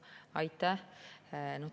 Aitäh!